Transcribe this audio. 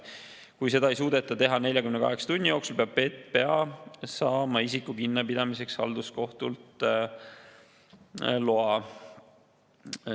Kui seda ei suudeta teha 48 tunni jooksul, peab PPA saama isiku kinnipidamiseks halduskohtult loa.